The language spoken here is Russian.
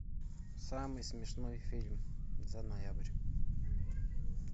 самый смешной фильм за ноябрь